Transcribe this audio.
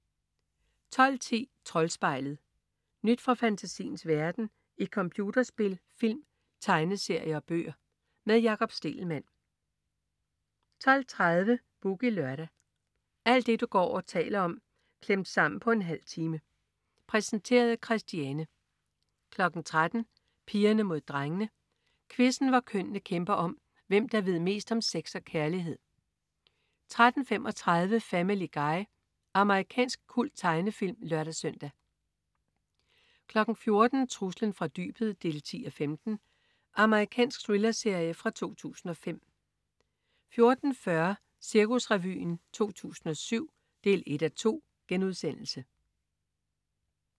12.10 Troldspejlet. Nyt fra fantasiens verden i computerspil, film, tegneserier og bøger. Med Jakob Stegelmann 12.30 Boogie Lørdag. Alt det du går og taler om klemt sammen på en halv time. Præsenteret af Christiane 13.00 Pigerne Mod Drengene. Quizzen, hvor kønnene kæmper om, hvem der ved mest om sex og kærlighed 13.35 Family Guy. Amerikansk kulttegnefilm (lør-søn) 14.00 Truslen fra dybet 10:15. Amerikansk thrillerserie fra 2005 14.40 Cirkusrevyen 2007 1:2*